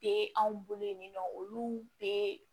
Be anw bolo yen nɔ olu be